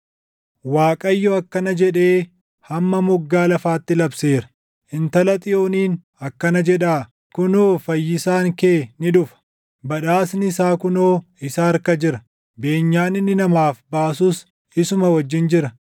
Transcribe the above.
Waaqayyo akkana jedhee hamma moggaa lafaatti labseera; “Intala Xiyooniin akkana jedhaa: ‘Kunoo Fayyisaan kee ni dhufa! Badhaasni isaa kunoo isa harka jira; beenyaan inni namaaf baasus isuma wajjin jira.’ ”